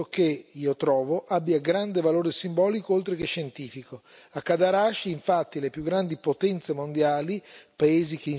L'Europa deve quindi continuare a svolgere un ruolo di primo piano nel progetto che, io trovo, ha grande valore simbolico oltre che scientifico.